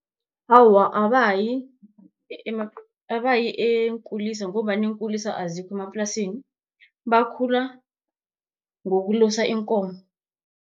Awa, abayi abayi eenkulisa ngombana iinkulisa azikho emaplasini, bakhula ngokulusa iinkomo.